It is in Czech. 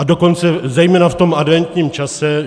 A dokonce zejména v tom adventním čase.